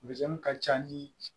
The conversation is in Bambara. ka ca ni